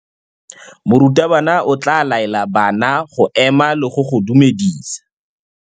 Morutabana o tla laela bana go ema le go go dumedisa.